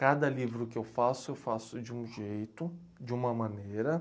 Cada livro que eu faço, eu faço de um jeito, de uma maneira